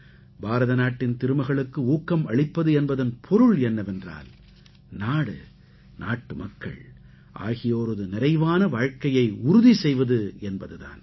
பாரத நாட்டின் திருமகளுக்கு ஊக்கம் அளிப்பது என்பதன் பொருள் என்னவென்றால் நாடு நாட்டுமக்கள் ஆகியோரது நிறைவான வாழ்க்கையை உறுதி செய்வது என்பது தான்